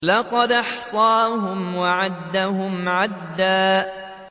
لَّقَدْ أَحْصَاهُمْ وَعَدَّهُمْ عَدًّا